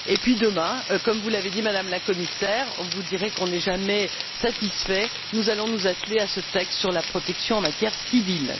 Puis demain, comme vous l'avez dit, Madame la Commissaire vous direz que nous ne sommes jamais satisfaits nous allons nous atteler à ce texte sur la protection en matière civile.